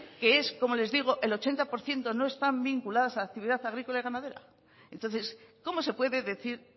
que es como les digo el ochenta por ciento no están vinculadas la actividad agrícola y ganadera entonces cómo se puede decir